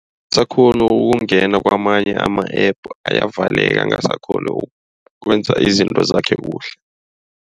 Akasakghoni ukungena kwamanye ama-App. Ayavaleka angasakghoni ukwenza izinto zakhe kuhle.